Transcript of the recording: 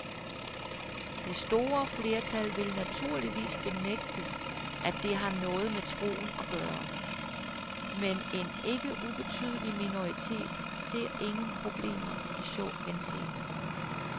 Det store flertal vil naturligvis benægte, at det har noget med troen at gøre, men en ikke ubetydelig minoritet ser ingen problemer i så henseende.